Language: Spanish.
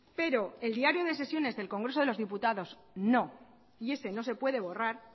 pero el diario de sesiones del congreso de los diputados no y ese no se puede borrar